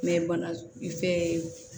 bana fɛn ye